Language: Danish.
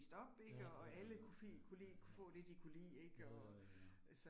Ja, jo jo jo, ja ja ja, jo jo jo ja